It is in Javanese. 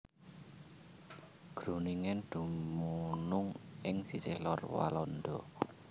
Groningen dumunung ing sisih lor Walanda